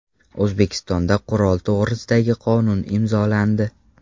O‘zbekistonda Qurol to‘g‘risidagi qonun imzolandi.